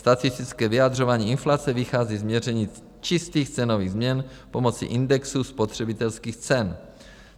Statistické vyjadřování inflace vychází z měření čistých cenových změn pomocí indexu spotřebitelských cen.